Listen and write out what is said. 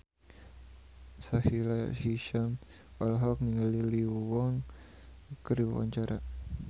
Sahila Hisyam olohok ningali Lee Yo Won keur diwawancara